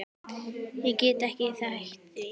Ég get ekki hætt því.